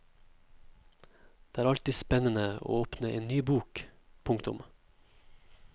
Det er alltid spennende å åpne en ny bok. punktum